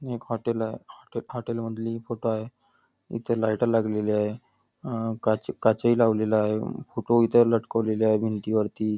एक हॉटेल आहे हॉटेल मधली फोटो आहे इथं लाईट लागलेली आहे अं काच काचही लावलेला आहे ह फोटो इथं लटकवलेले आहे भिंतीवरती.